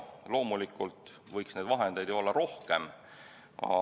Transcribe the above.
Loomulikult võiks neid vahendeid ju rohkem olla.